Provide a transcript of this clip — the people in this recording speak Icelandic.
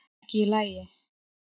Ekki í lagi